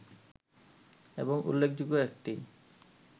এবং উল্লেখযোগ্য একটি